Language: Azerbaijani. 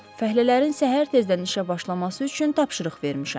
Fəhlələrin səhər tezdən işə başlaması üçün tapşırıq vermişəm.